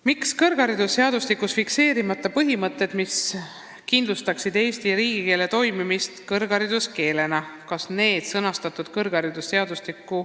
"Miks on kõrgharidusseadustikus fikseerimata põhimõtted, mis kindlustaksid Eesti riigikeele toimimist kõrghariduskeelena?